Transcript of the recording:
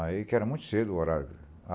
Aí, que era muito cedo o horário.